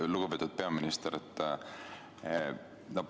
Lugupeetud peaminister!